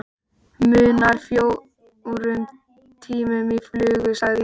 Munar fjórum tímum í flugi sagði ég.